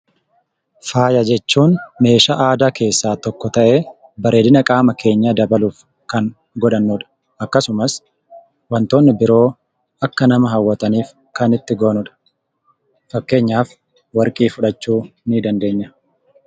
Faaya jechuun meeshaa aadaa keessaa tokko ta'ee bareedina qaama keenyaa dabaluuf kan godhannudha. Akkasumas wantoonni biroo akka nama hawwataniif kan itti goonudha. Fakkeenyaaf warqii fudhachuu nii dandeenya.